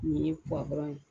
Nin ye ye.